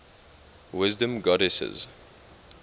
wisdom goddesses